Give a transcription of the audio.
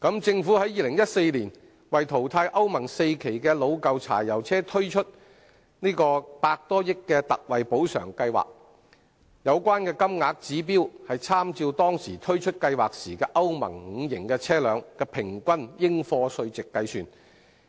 政府於2014年為淘汰歐盟 IV 期的老舊柴油車推出百多億元的特惠補償金計劃，有關金額的指標，是參照當時推出計劃的歐盟 V 期車輛的平均應課稅值計算。